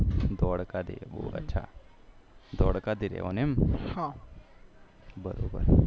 ધોડકા થી રેહવાનું એમ બરોબર